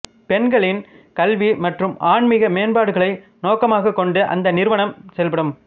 பெண்களின் கல்வி மற்றும் ஆன்மீக மேம்பாடுகளை நோக்கமாகக் கொண்டு அந்த நிறுவனம் செயல்படும்